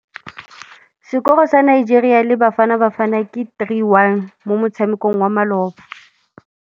Sekôrô sa Nigeria le Bafanabafana ke 3-1 mo motshamekong wa malôba.